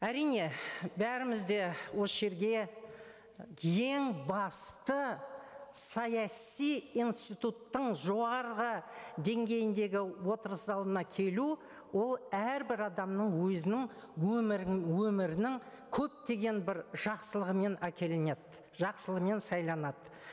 әрине бәріміз де осы жерге ең басты саяси институттың жоғарғы деңгейіндегі отырыс залына келу ол әрбір адамның өзінің өмірінің көптеген бір жақсылығымен әкелінеді жақсылығымен сайланады